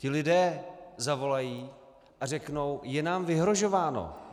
Ti lidé zavolají a řeknou: Je nám vyhrožováno.